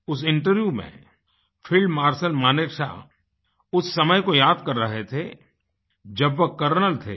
उस इंटरव्यू में field marshal Manekshawउस समय को याद कर रहे थेजब वो कर्नल थे